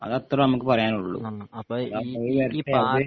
അത് അത്ര നമുക്ക് പറയാനൊള്ളൂ